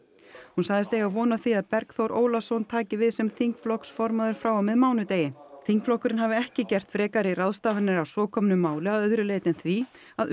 hún sagðist eiga von á því að Bergþór Ólason taki við sem þingflokksformaður frá og með mánudegi þingflokkurinn hafi ekki gert frekari ráðstafanir að svo komnu máli að öðru leyti en því að